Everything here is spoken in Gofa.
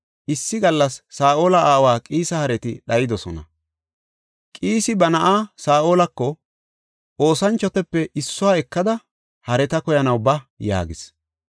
Issi gallas Saa7ola aawa Qiisa hareti dhayidosona; Qiisi ba na7aa Saa7olako, “Oosanchotape issuwa ekada hareta koyanaw ba” yaagis.